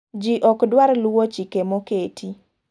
Ji ok dwar luwo chik moketi.